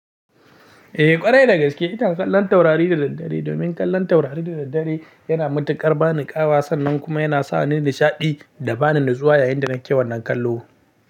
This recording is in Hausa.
Eh ƙwarai da gaske, ina kallon taurari da daddare domin kallon taurari da daddare yana matuƙar ba ni ƙawa sannan kuma yana sa ni nishaɗi da ba ni natsuwa yayinda nake wannan kallo.